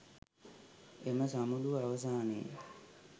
එම සමුළුව අවසානයේ